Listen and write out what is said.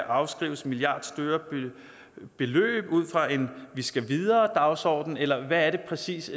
afskrives milliardstore beløb ud fra en vi skal videre dagsorden eller hvad er det præcis